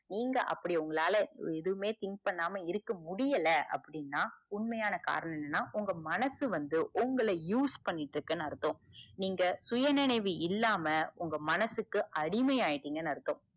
நீங்க அப்டி உங்களால எதுமே think பண்ணாம இருக்க முடியல அப்டின்னா உண்மையான காரணம் என்னன்னா உங்க மனசு வந்து உங்கள use பண்ணிட்டு இருக்குனு அர்த்தம் நீங்க சுயநினைவு இல்லாம உங்க மனசுக்கு அடிமை ஆயிட்டிங்கனு அர்த்தம்.